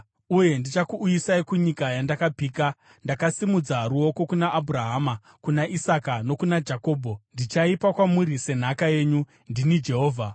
Uye ndichakuuyisai kunyika yandakapika ndakasimudza ruoko kuna Abhurahama, kuna Isaka nokuna Jakobho. Ndichaipa kwamuri senhaka yenyu. Ndini Jehovha.’ ”